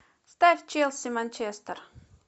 ставь челси манчестер